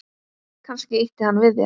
Kannski ýtti hann við þér?